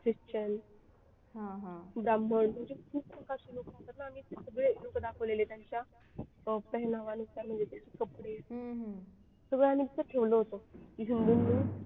Christian ब्राह्मण म्हणजे खूप प्रकारचे लोक राहतात ना आम्ही सगळे लोक दाखवले त्यांच्या अं कपडे